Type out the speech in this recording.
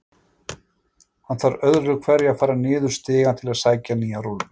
Hann þarf öðru hverju að fara niður stigann til að sækja nýja rúllu.